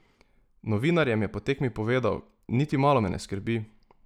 Novinarjem je po tekmi povedal: "Niti malo me ne skrbi.